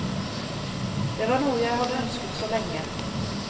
Det var noe jeg hadde ønsket så lenge.